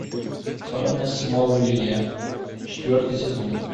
тайны смолвиля четвертый сезон